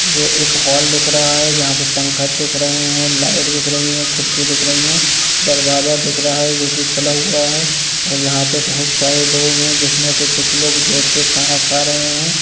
यह एक हॉल दिख रहा है जहां पर पंखा देख रहे है लाइट दिख रहे है खिड़की दिख रही है दरवाजा दिख रहा है जो कि खुला हुआ है और जहां पर बहुत सारे लोग है जिसमें से कुछ लोग बैठकर खाना खा रहे है यह--